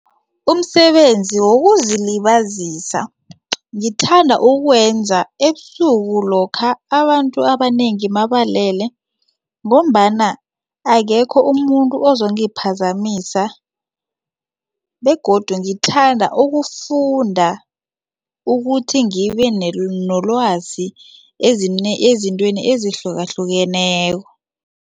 Umsebenzi wokuzilibazisa ngithanda ukuwenza ebusuku lokha abantu abanengi mabalele ngombana akekho umuntu ozongiphazamisa begodu ngithanda ukufunda ukuthi ngibe nolwazi ezintweni ezihlukahlukeneko.